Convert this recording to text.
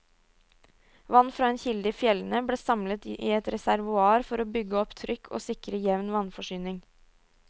Vann fra en kilde i fjellene ble samlet i et reservoar for å bygge opp trykk og sikre jevn vannforsyning.